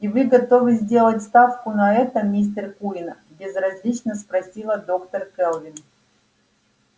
и вы готовы сделать ставку на это мистер куинн безразлично спросила доктор кэлвин